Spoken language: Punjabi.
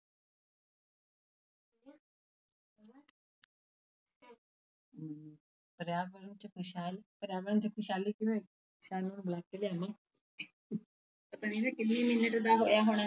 ਪਰਿਆਵਰਣ 'ਚ ਖ਼ੁਸ਼ਹਾਲ ਪਰਿਆਵਰਣ 'ਚ ਖ਼ੁਸ਼ਹਾਲੀ ਕਿਵੇਂ ਬੁਲਾ ਕੇ ਲਿਆਵਾਂ ਪਤਾ ਨੀ ਨਾ ਕਿੰਨੇ minute ਦਾ ਹੋਇਆ ਹੋਣਾ।